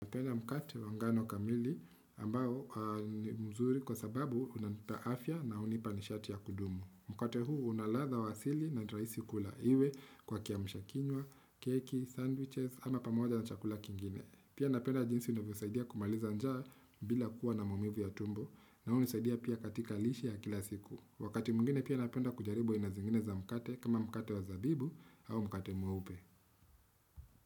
Napenda mkate wangano kamili ambao mzuri kwa sababu unanipa afya na unipa nishati ya kudumu. Mkate huu unaladha wasili na niraisi kula iwe kwa kiamusha kinywa, keki, sandwiches ama pamoja na chakula kingine. Pia napenda jinsi unanisaidia kumaliza njaa bila kuwa na mumivu ya tumbo na unisaidia pia katika lishe ya kila siku. Wakati mwingine pia napenda kujaribu aina zingine za mkate kama mkate wa zabibu au mkate mweupe.